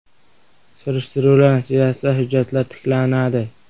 Surishtiruvlar natijasida hujjatlar tiklanadi.